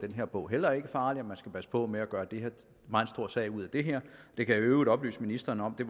var bogen heller ikke farlig og at man skulle passe på med at gøre en meget stor sag ud af det her jeg kan i øvrigt oplyse ministeren om at det